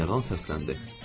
General səsləndi.